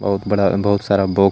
बोहोत बड़ा बोहोत सारा बॉक्स